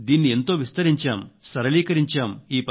దీన్ని ఎంతో విస్తరించాం సరళీకరించాం